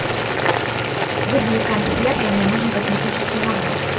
вызови консьержа мне нужен косметический набор